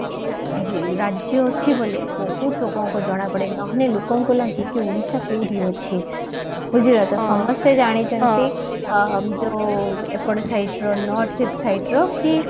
ରାଜ୍ୟ ଅଛି ବୋଲି ବହୁତ ଲୋକଙ୍କୁ ଜଣାପଡେ ନହଲେ ଲୋକଙ୍କୁ ଲାଗେ କି ଓଡିଶା କୋଉଠି ଅଛି ବୁଝିଲକି ସମସ୍ତେ ଜାଣିଛନ୍ତି ଯୋଉ ଏପଟ site ର north east site ର କି